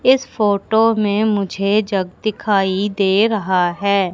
इस फोटो में मुझे जग दिखाई दे रहा हैं।